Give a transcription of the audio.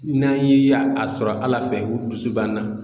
N'an ye a sɔrɔ Ala fɛ o dusu b'an na